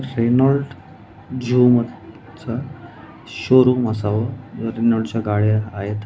Renault चं showroom असावं व रेनॉल्ट च्या गाड्या आहेत.